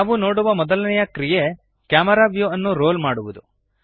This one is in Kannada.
ನಾವು ನೋಡುವ ಮೊದಲನೆಯ ಕ್ರಿಯೆ ಕ್ಯಾಮೆರಾ ವ್ಯೂಅನ್ನು ರೋಲ್ ಮಾಡುವದು